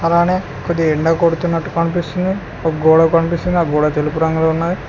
అలానే కొద్దిగా ఎండా కొడుతున్నట్టు కనిపిస్తుంది ఒక గోడ కనిపిస్తే నాకు కూడా తెలుపు రంగులు ఉన్నాయి.